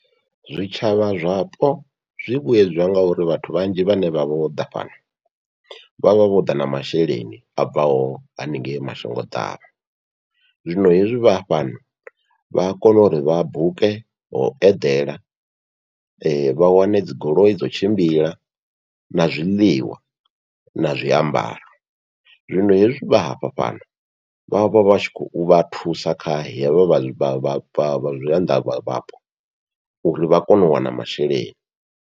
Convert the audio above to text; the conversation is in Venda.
Zwitshavha zwapo zwi vhuyedzwa ngauri vhathu vhanzhi vhane vha vha vhoḓa fhano vhavha vhoḓa na masheleni abvaho haningei mashango ḓavha, zwino hezwi vha fhano vha a kona uri vha buke ho eḓela vha wane dzi goloi dzo tshimbila na zwiḽiwa na zwiambaro, zwino hezwi vha hafha fhano vha vha vha tshi khou vha thusa kha hevha vha zwianḓa vha vhapo, uri vha kone u wana masheleni.